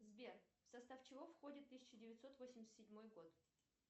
сбер в состав чего входит тысяча девятьсот восемьдесят седьмой год